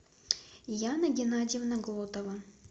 яна геннадьевна глотова